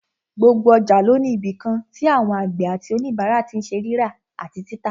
Gbogbo ọjà ló ní ibìkan tí àwọn àgbẹ̀ àti òníbàárà tí n ṣe rírà àti títà